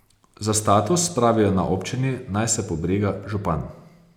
Za status, pravijo na občini, naj se pobriga župan.